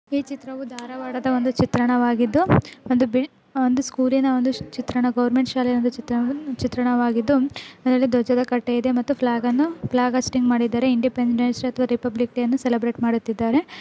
ಈ ಚಿತ್ರವು ಒಂದು ಧಾರವಾಡದ ಚಿತ್ರಣವಾಗಿದ್ದು ಒಂದು ಬಿಲ್ ಒಂದು ಸ್ಕೂಲಿನ ಒಂದು ಚಿತ್ರಣ ಗೋರ್ಮೆಂಟ್ ಶಾಲೆಯ ಚಿತ್ರಣ ಚಿತ್ರಣವಾಗಿದ್ದು ಅದರಲ್ಲಿ ಧ್ವಜದ ಕಟ್ಟೆ ಇದೆ ಫ್ಲಾಗ್ ಅನ್ನು ಫ್ಲಾಗ್ ಹಾಸ್ಟಿಂಗ್ ಮಾಡಿದ್ದಾರೆ ಇಂಡಿಪೆಂಡೆನ್ಸ್ ಡೇ ಅಥವಾ ರಿಪಬ್ಲಿಕ್ ಡೇ ಅನ್ನು ಸೆಲೆಬ್ರೇಟ್ ಮಾಡುತ್ತಿದ್ದಾರೆ.